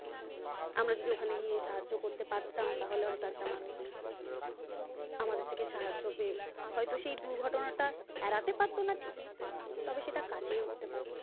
আমরা যদি ওখানে গিয়ে সাহায্য করতে পারতাম তাহলে হয়তো একটা মানুষ আমাদের থেকে সাহায্য পেয়ে হয়তো সেই দুর্ঘটনাটা এড়াতে পারত না ঠিকই তবে সেটা কাটিয়ে উঠতে পারতো ।